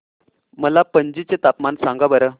मला पणजी चे तापमान सांगा बरं